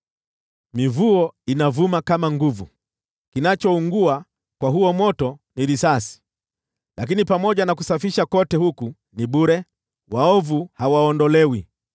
Mivuo inavuma kwa nguvu, kinachoungua kwa huo moto ni risasi, lakini pamoja na kusafisha kote huku ni bure; waovu hawaondolewi.